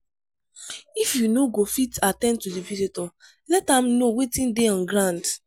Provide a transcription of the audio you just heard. if you no go fit at ten d to di visitor let am know wetin dey on ground